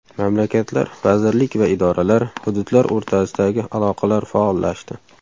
Mamlakatlar vazirlik va idoralar, hududlar o‘rtasidagi aloqalar faollashdi.